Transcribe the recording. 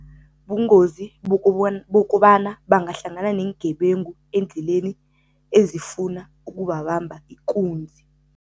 Bungozi bokobana bangahlangana neengebengu endleleni ezifuna ukubabamba ikunzi.